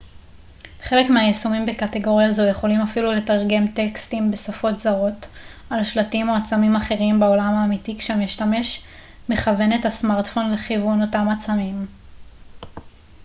חלק מהיישומים בקטגוריה זו יכולים אפילו לתרגם טקסטים בשפות זרות על שלטים או עצמים אחרים בעולם האמיתי כשהמשתמש מכוון את הסמרטפון לכיוון אותם עצמים